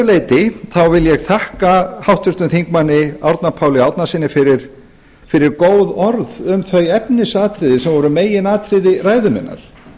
leyti vil ég þakka háttvirtum þingmanni árna páli árnasyni fyrir góð orð um þau efnisatriði sem voru meginatriði ræðu minnar